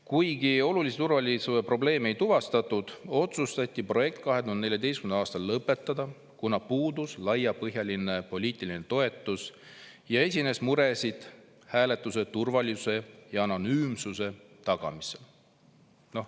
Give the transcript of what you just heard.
Kuigi olulisi turvalisuse probleeme ei tuvastatud, otsustati 2014. aastal projekt lõpetada, kuna puudus laiapõhjaline poliitiline toetus ja esines muresid hääletuse turvalisuse ja anonüümsuse tagamisel.